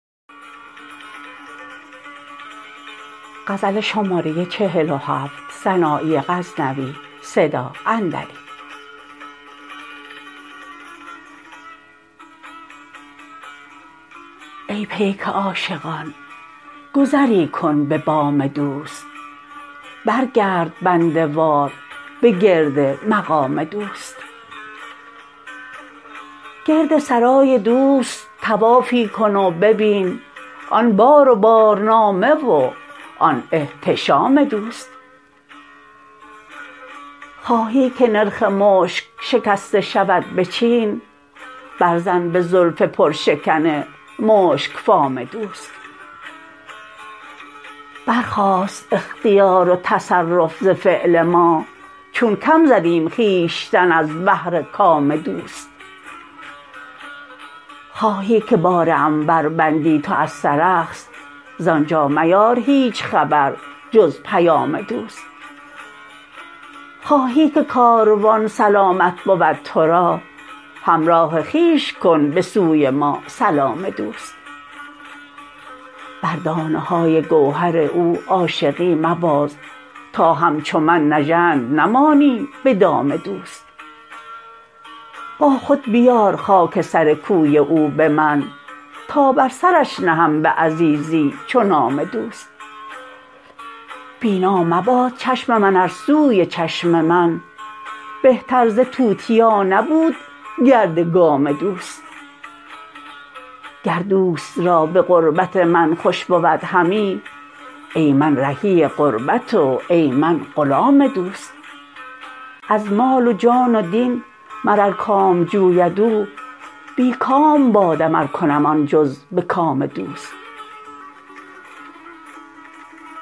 ای پیک عاشقان گذری کن به بام دوست برگرد بنده وار به گرد مقام دوست گرد سرای دوست طوافی کن و ببین آن بار و بارنامه و آن احتشام دوست خواهی که نرخ مشک شکسته شود به چین بر زن به زلف پر شکن مشکفام دوست برخاست اختیار و تصرف ز فعل ما چون کم زدیم خویشتن از بهر کام دوست خواهی که بار عنبر بندی تو از سرخس زآنجا میار هیچ خبر جز پیام دوست خواهی که کاروان سلامت بود ترا همراه خویش کن به سوی ما سلام دوست بر دانه های گوهر او عاشقی مباز تا همچو من نژند نمانی به دام دوست با خود بیار خاک سر کوی او به من تا بر سرش نهم به عزیزی چو نام دوست بینا مباد چشم من ار سوی چشم من بهتر ز توتیا نبود گرد گام دوست گر دوست را به غربت من خوش بود همی ای من رهی غربت و ای من غلام دوست از مال و جان و دین مر ار کام جوید او بی کام بادم ار کنم آن جز به کام دوست